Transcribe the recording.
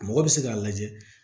Mɔgɔ bɛ se k'a lajɛ